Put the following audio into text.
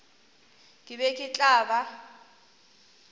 ke be ke tla ba